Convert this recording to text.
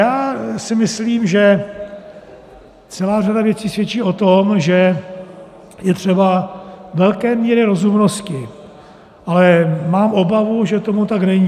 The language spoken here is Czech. Já si myslím, že celá řada věcí svědčí o tom, že je třeba velké míry rozumnosti, ale mám obavu, že tomu tak není.